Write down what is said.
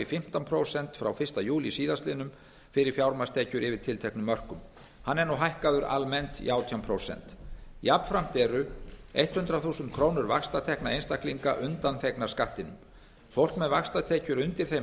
fimmtán prósent frá fyrsta júlí síðastliðnum fyrir fjármagnstekjur yfir tilteknum mörkum hann er nú hækkaður almennt í átján prósent jafnframt eru hundrað þúsund krónur vaxtatekna einstaklinga undanþegnar skattinum fólk með vaxtatekjur undir þeim